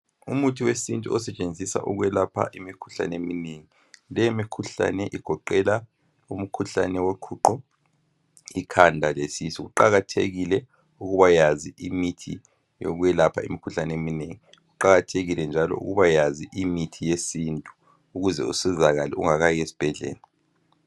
Umuthi wesintu osetshenziswa ukwelapha imkhuhlane eminengi. Le mikhuhlane igoqela umkhuhlane woquqo ikhanda lesisu kuqakathekile ukuba yazi imithi yokwelapha imikhuhlane eminengi kuqakathekile njalo ukubayazi imithi yesintu ukuze usikala ungakayi esibhendlela.